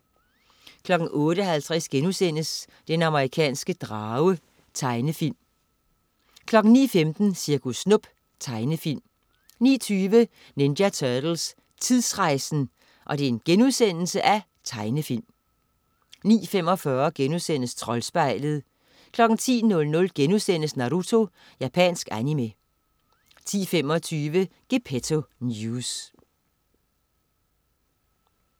08.50 Den amerikanske drage.* Tegnefilm 09.15 Cirkus Snup. Tegnefilm 09.20 Ninja Turtles: Tidsrejsen!* Tegnefilm 09.45 Troldspejlet* 10.00 Naruto.* Japansk animé 10.25 Gepetto News*